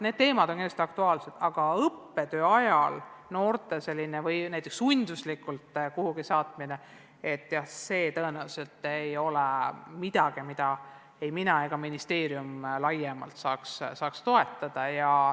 Need teemad on kindlasti aktuaalsed, aga õppetöö ajal noorte saatmine sunduslikult kuhugi põllule – see tõenäoliselt ei ole midagi, mida mina või ministeerium saaksime laiemalt toetada.